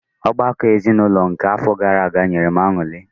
Ọgbakọ ezinụlọ nke àfọ gaara aga nyere m añụrị.